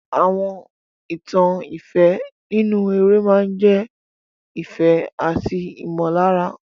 Àwọn ìtàn ìfẹ́ nínú eré máa ń jẹ́ ìfẹ́ àti ìmọ̀lára.